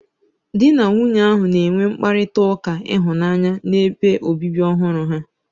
Di na nwunye ahụ na-enwe mkparịta ụka ịhụnanya n'ebe obibi ọhụrụ ha.